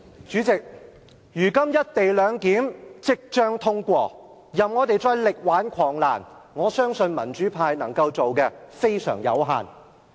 主席，如今"一地兩檢"即將通過，即使我們想力挽狂瀾，民主派能夠做的非常有限。